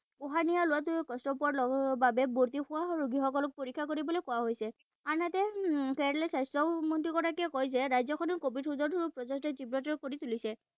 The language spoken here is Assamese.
উশাহ নিশাহ লোৱাত কষ্ট পোৱাৰ বাবে ভৰ্ত্তি হোৱা ৰোগীসকলক পৰীক্ষা কৰিবলৈ কোৱা হৈছে। আনহাতে কেৰেলাৰ স্বাস্থ্যমন্ত্ৰী গৰাকীয়ে কয় যে ৰাজ্যখনৰ কভিড তীব্ৰতৰ কৰি তুলিছে।